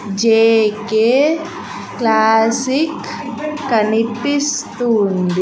JK classic కనిపిస్తుంది.